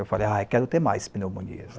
Eu falei, ah quero ter mais pneumonias.